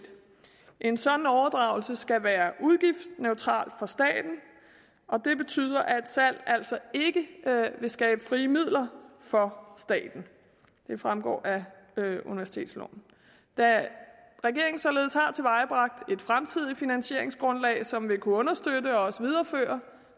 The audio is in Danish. en sådan overdragelse skal være udgiftsneutral for staten og det betyder at salg altså ikke vil skabe frie midler for staten det fremgår af universitetsloven da regeringen således har tilvejebragt et fremtidigt finansieringsgrundlag som vil kunne understøtte og også videreføre